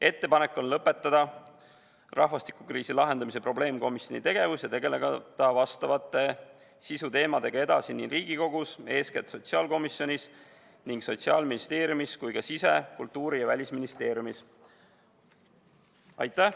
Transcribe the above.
Ettepanek on lõpetada rahvastikukriisi lahendamise probleemkomisjoni tegevus ja tegeleda nende sisuteemadega edasi nii Riigikogus, eeskätt sotsiaalkomisjonis, kui ka sotsiaal-, sise-, kultuuri- ja välisministeeriumis.